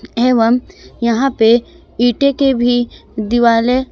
एवं यहां पे ईंटे के भी दिवाले--